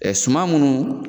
Ɛɛ suman munnu